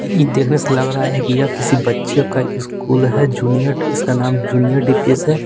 इ देखने से लग रहा है कि यह किसी बच्चे का स्कूल है जूनियर इसका नाम जूनियर डी_पी_एस है।